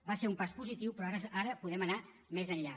va ser un pas positiu però ara podem anar més enllà